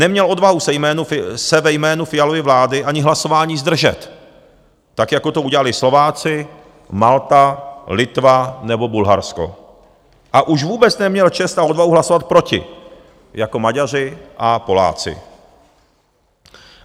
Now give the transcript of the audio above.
Neměl odvahu se ve jménu Fialovy vlády ani hlasování zdržet, tak jako to udělali Slováci, Malta, Litva nebo Bulharsko, a už vůbec neměl čest a odvahu hlasovat proti jako Maďaři a Poláci.